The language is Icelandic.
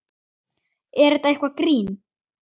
Er þetta eitthvað grín?